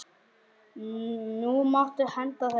Nú máttu henda þeim.